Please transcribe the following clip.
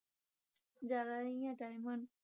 ਜ਼ਿਆਦਾ ਨਹੀਂ ਆ time ਹੁਣ।